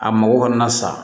A mago kɔni na sa